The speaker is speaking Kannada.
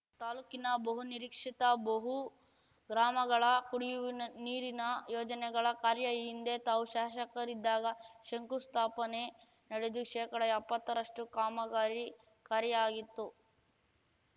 ತಾಲೂಕಿನ ಬಹುನಿರೀಕ್ಷಿತ ಬಹು ಗ್ರಾಮಗಳ ಕುಡಿಯುವ ನೀರಿನ ಯೋಜನೆಗಳ ಕಾರ್ಯ ಈ ಹಿಂದೆ ತಾವು ಶಾಸಕರಿದ್ದಾಗ ಶಂಕುಸ್ಥಾಪನೆ ನಡೆದು ಶೇಕಡಎಪ್ಪತ್ತ ರಷ್ಟುಕಾಮಗಾರಿ ಕಾರ್ಯ ಆಗಿತ್ತು